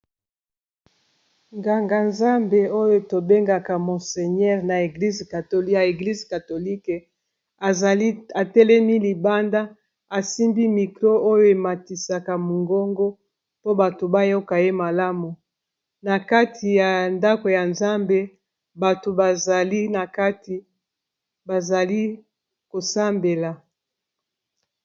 nganga-nzambe oyo tobengaka monseignere ya eglise katolike atelemi libanda asimbi mikro oyo ematisaka mongongo po bato bayoka ye malamu na kati ya ndako ya nzambe bato bazali na kati bazali kosambela